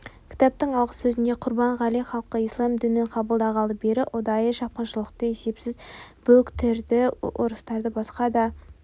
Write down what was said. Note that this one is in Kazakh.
кітаптың алғы сөзінде құрбанғали халқы ислам дінін қабылдағалы бері ұдайы шапқыншылықты есепсіз бүліктерді ұрыстарды басқа да